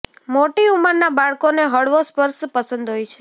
મોટી ઉંમરના બાળકોને હળવો સ્પર્શ પસંદ હોય છે